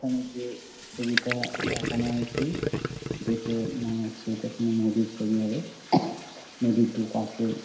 এখানে যে ছবিটা দেখানো হয়েছে দেখে মনে হচ্ছে এটা কোনো নদীর ছবি হবে নদীর দুই পাশে--